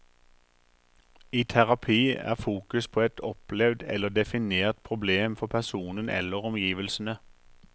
I terapi er fokus på et opplevd eller definert problem for personen eller omgivelsene.